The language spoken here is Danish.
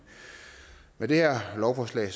med det her lovforslag